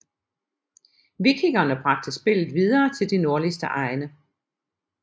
Vikingerne bragte spillet videre til de nordligste egne